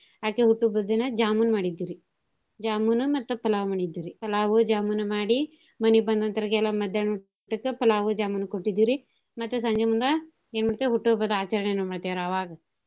ಅಕಿ ಹುಟ್ಟು ಹಬ್ಬದ್ ದಿನಾ jamun ಮಾಡಿದ್ವಿ ರಿ jamun ನೂ ಮತ್ತ pulav ಮಾಡಿದ್ವಿ ರಿ pulav jamun ಮಾಡಿ ಮನೀಗ್ ಬಂದಂತೋರ್ಗೆಲ್ಲಾ ಮದ್ಯಾನ್ಹ ಊಟಕ್ಕ pulav jamun ಕೊಟ್ಟಿದ್ವಿ ರಿ ಮತ್ತ ಸಂಜಿಮುಂದಾ ಎನ್ ಮಾಡ್ತೀವಿ ಹುಟ್ಟು ಹಬ್ಬದ ಆಚರ್ಣೆಯನ್ನ ಮಾಡ್ತಿವ್ ರಿ ಅವಾಗ.